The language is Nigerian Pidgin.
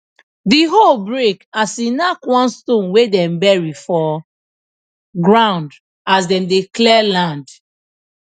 the hoe break as e knack one stone wey dem bury for ground as dem dey clear land